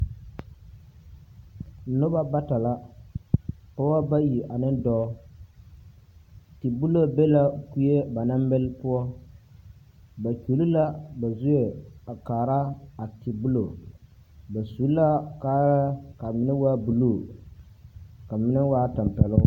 Noba bata la, pɔgeba bayi ane dɔɔ. Tebulo be la kue ba naŋ mele poɔ. Ba kyuli la ba zue a kaara a tebulo. Ba su la kaayɛr k'a menɛ waa buluu ka menɛ waa tampɛloŋ.